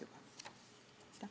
Aitäh!